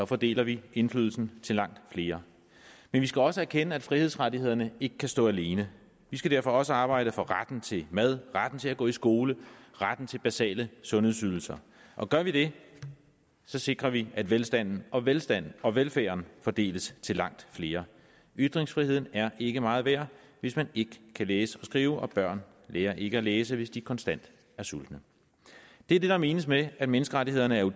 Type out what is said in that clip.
fordeler vi indflydelsen til langt flere men vi skal også erkende at frihedsrettighederne ikke kan stå alene vi skal derfor også arbejde for retten til mad retten til at gå i skole retten til basale sundhedsydelser gør vi det sikrer vi at velstanden og velstanden og velfærden fordeles til langt flere ytringsfriheden er ikke meget værd hvis man ikke kan læse og skrive og børn lærer ikke at læse hvis de konstant er sultne det er det der menes med at menneskerettighederne er